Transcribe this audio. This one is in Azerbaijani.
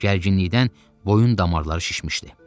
Gərginlikdən boyun damarları şişmişdi.